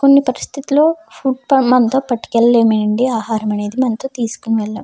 కొన్ని పరిస్థితుల్లో ఫుడ్ మనతో పట్టుకెళ్ళలేము ఏమీ ఆహారం అనేది మనతో తీసుకొని వెళ్ళాం.